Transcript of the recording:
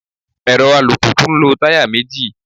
Èrọ alùpùpù ń lo táyà méjì.